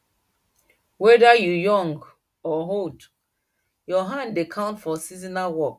whether you young or old your hand dey count for seasonal work